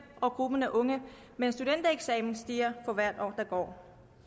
og gruppen af unge med en studentereksamen stiger for hvert år der går